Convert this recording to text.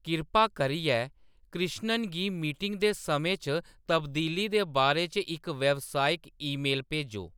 किरपा करियै कृष्णन गी मीटिंग दे समें च तब्दीली दे बारे च इक व्यावसायिक ईमेल भेजो